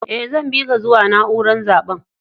Eh, zan bi ka zuwa naúrar zaben.